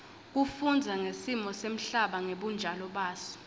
kufundza ngesimo semhlaba ngebunjalo baso